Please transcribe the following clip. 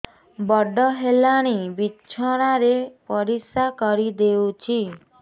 ବଡ଼ ହେଲାଣି ବିଛଣା ରେ ପରିସ୍ରା କରିଦେଉଛି